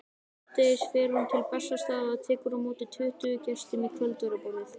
Síðdegis fer hún til Bessastaða og tekur á móti tuttugu gestum í kvöldverðarboði.